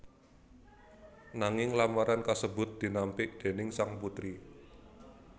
Nanging lamaran kasebut dinampik déning sang putri